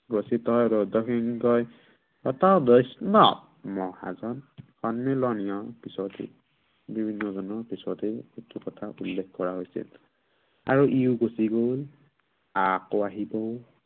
গঠিত ৰজসিংহই, শতবৈষ্ণ মহাজন সন্মিলনীয় পিছতো বিভিন্নজনৰ পিছতেই, কথা উল্লেখ কৰা হৈছে। আৰু ইও গুচি গল। আকৌ আহিব